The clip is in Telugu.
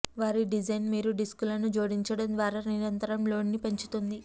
వారి డిజైన్ మీరు డిస్కులను జోడించడం ద్వారా నిరంతరం లోడ్ని పెంచుతుంది